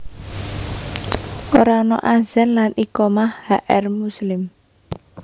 Ora ana adzan lan iqamah H R Muslim